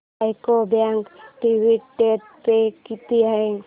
UCO bank dividend pay किती आहे